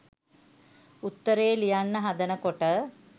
උත්තරේ ලියන්න හදන කොට